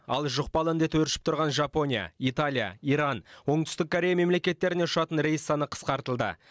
ал жұқпалы індет өршіп тұрған жапония италия иран оңтүстік корея мемлекеттеріне ұшатын рейс саны қысқартылды